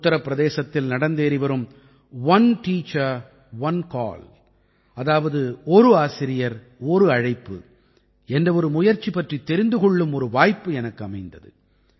உத்தரப் பிரதேசத்தில் நடந்தேறிவரும் one teacher one call அதாவது ஒரு ஆசிரியர் ஒரு அழைப்பு என்ற ஒரு முயற்சி பற்றித் தெரிந்து கொள்ளும் ஒரு வாய்ப்பு எனக்கு அமைந்தது